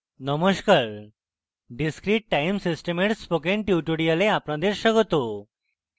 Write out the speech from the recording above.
নমস্কার discrete time system dear spoken tutorial আপনাদের স্বাগত